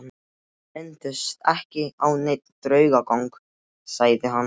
Hann minntist ekki á neinn draugagang, sagði hann.